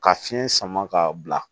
Ka fiɲɛ sama ka bila